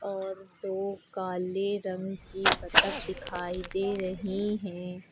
और दो काले रंग की बतख दिखाई दे रही है।